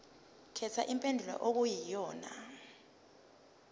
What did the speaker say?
khetha impendulo okuyiyona